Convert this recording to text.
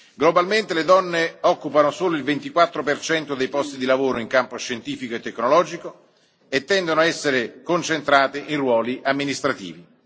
Globalmente, le donne occupano solo il 24 dei posti di lavoro in campo scientifico e tecnologico e tendono a essere concentrate in ruoli amministrativi.